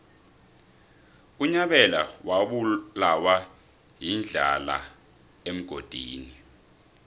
unyabela wabulawa yindlala emgodini